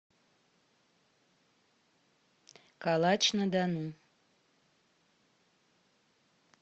калач на дону